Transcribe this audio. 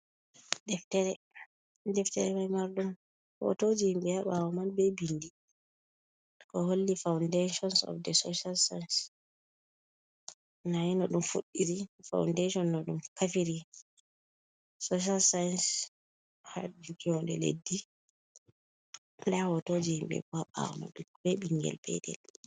Deftere ma marɗum hotoje himɓe ha ɓawo man ɓe bindi ko holli "foundations of the social science." nda no ɗum fuɗɗiri faundation no ɗum kafiri social science. hajuki wonde leddi nda hotoje himɓe bo ɓawo be ɓingel petel.